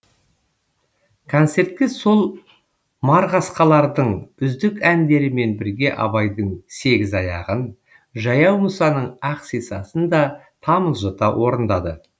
концертке сол марғасқалардың үздік әндерімен бірге абайдың сегіз аяғын жаяу мұсаның ақ сисасын да тамылжыта орындады